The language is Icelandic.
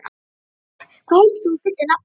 Frár, hvað heitir þú fullu nafni?